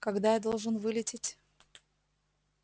когда я должен вылететь